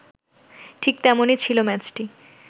ঠিক তেমনই ছিল ম্যাচটি